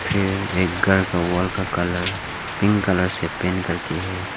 फिर एक घर का वॉल का कलर पिंक कलर से पेंट करके है।